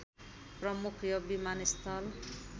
प्रमुख यो विमानस्थल